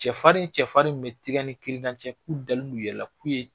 Cɛfarin cɛfarin bɛ tigɛ ni kirina cɛ k'u dalen b'u yɛrɛ la k'u ye